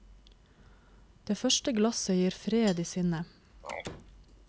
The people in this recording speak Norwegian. Det første glasset gir fred i sinnet.